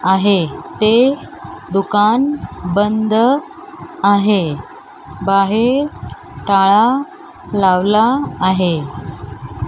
आहे ते दुकान बंद आहे बाहेर टाळा लावला आहे.